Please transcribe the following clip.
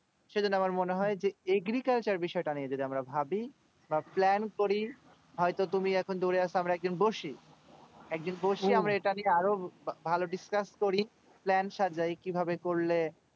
সেই জন্য আমার মনে হয় নিজে agriculture বিষয় তা নিয়ে যদি আমরা ভাবি বা plan করি হয়তো তুমি এখন দূরে আছো আমরা আমরা একজন দোষী আরো ভালো যদি চাষ করি plan সাজাই কি ভাবে করলে